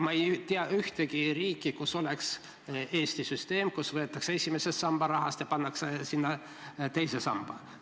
Ma ei tea ühtegi riiki, kus oleks Eesti süsteem, et esimese samba rahast võetakse üks osa ära ja pannakse teise sambasse.